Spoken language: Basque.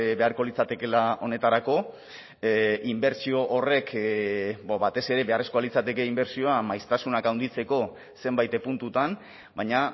beharko litzatekeela honetarako inbertsio horrek batez ere beharrezkoa litzateke inbertsioa maiztasunak handitzeko zenbait puntutan baina